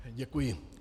Děkuji.